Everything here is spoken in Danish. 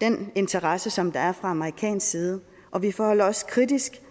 den interesse som der er fra amerikansk side og vi forholder os kritisk